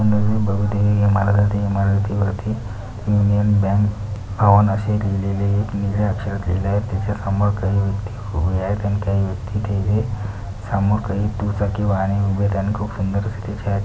तुम्ही बघू दे या इमारती इमारती वरती युनियन बँक भवन असे लिहिलेले निळ्या अक्षरात लिहिले आहे त्याच्यासमोर काही व्यक्ती उभ्या आहेत आणि काही व्यक्ती ते समोर काही दुचाकी वाहने उभे राहून सुंदर अशी --